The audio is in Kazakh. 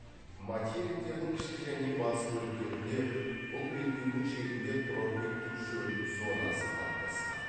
материктердің ішкі және батыс бөліктерінде бұл белдеудің шегінде тропиктік шөл зонасы қалыптасқан